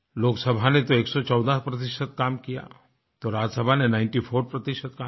लोकसभा ने तो 114 काम किया तो राज्य सभा ने निंटी फोर प्रतिशत काम किया